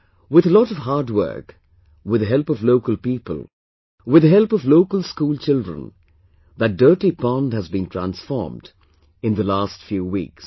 With a lot of hard work, with the help of local people, with the help of local school children, that dirty pond has been transformed in the last few weeks